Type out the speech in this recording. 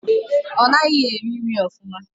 Ọ naghị eri nri ofụma.